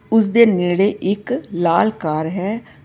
ਉਸ ਦੇ ਨੇੜੇ ਇੱਕ ਲਾਲ ਕਾਰ ਹੈ।